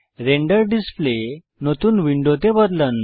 render display নতুন উইন্ডোতে বদলান